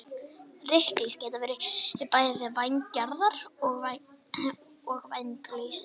Ryklýs geta verið bæði vængjaðar og vænglausar.